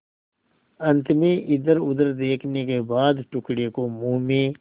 अंत में इधरउधर देखने के बाद टुकड़े को मुँह में